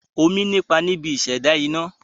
Omi ní ipa níbi ìṣẹ̀dá iná.